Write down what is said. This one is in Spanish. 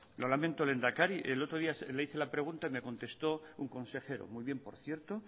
lo lamento lehendakari el otro día le hice la pregunta me contestó un consejero muy bien por cierto